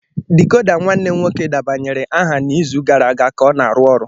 Decoder nwanne m nwoke debanyere aha n'izu gara aga ka na-arụ ọrụ.